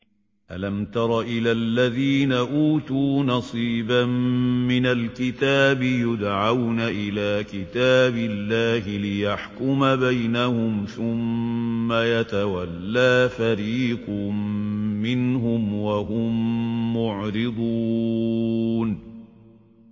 أَلَمْ تَرَ إِلَى الَّذِينَ أُوتُوا نَصِيبًا مِّنَ الْكِتَابِ يُدْعَوْنَ إِلَىٰ كِتَابِ اللَّهِ لِيَحْكُمَ بَيْنَهُمْ ثُمَّ يَتَوَلَّىٰ فَرِيقٌ مِّنْهُمْ وَهُم مُّعْرِضُونَ